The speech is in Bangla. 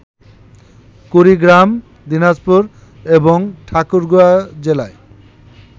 কুড়িগ্রাম, দিনাজপুর এবং ঠাকুরগাঁ জেলায়